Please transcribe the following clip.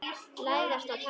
Læðast á tánum.